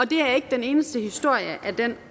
det er ikke den eneste historie af den